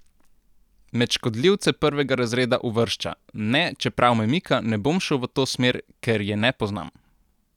Med škodljivce prvega razreda uvršča: "Ne, čeprav me mika, ne bom šel v to smer, ker je ne poznam!